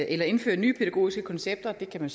eller indføre nye pædagogiske koncepter og det kan man